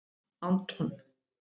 Anton